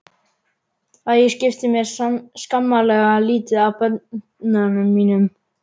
Að ég skipti mér skammarlega lítið af börnum mínum.